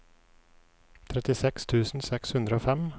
trettiseks tusen seks hundre og fem